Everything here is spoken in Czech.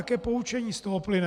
Jaké poučení z toho plyne?